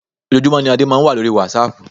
Ojoojúmọ́ ní Adé máa ń wà lórí wásaàpù.